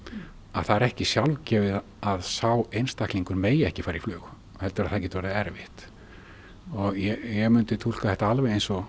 að það er ekki sjálfgefið að sá einstaklingur megi ekki fara í flug heldur að það gæti orðið erfitt og ég mundi túlka þetta alveg eins og